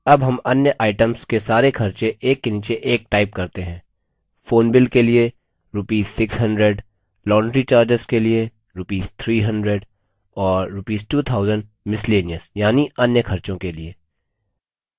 अब हम अन्य items के सारे खर्चे एक के नीचे एक type करते हैं phone bill के लिए rupees 600 laundry charges के लिए rupees 300 और rupees 2000 miscellaneous यानि अन्य खर्चों के लिए